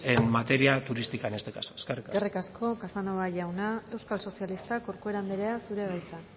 en materia turística en este caso eskerrik asko eskerrik asko casanova jauna euskal sozialistak corcuera andrea zurea da hitza